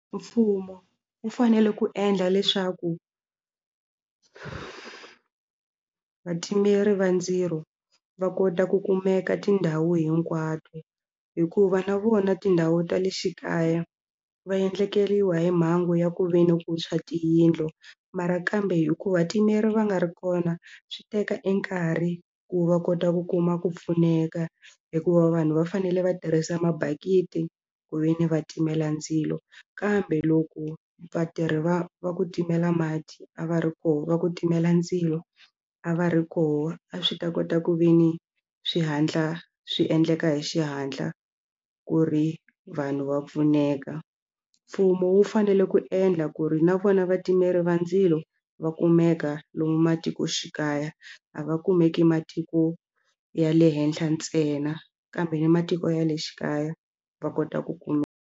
Mfumo wu fanele ku endla leswaku vatimeri va ndzilo va kota ku kumeka tindhawu hinkwato hikuva na vona tindhawu ta le xikaya va endlekeriwe hi mhangu ya ku ve ni ku tshwa tiyindlu mara kambe hikuva vatimeri va nga ri kona swi teka nkarhi ku va kota ku kuma ku pfuneka hikuva vanhu va fanele va tirhisa mabakiti ku ve ni va timela ndzilo kambe loko vatirhi va va ku timela mati a va ri kona va ku timela ndzilo a va ri kona a swi ta kota ku ve ni swi hatla swi endleka hi xihatla ku ri vanhu va pfuneka mfumo wu fanele ku endla ku ri na vona vatimeri va ndzilo va kumeka lomu matikoxikaya a va kumeki matiko ya le henhla ntsena kambe na matiko ya le xikaya va kota ku .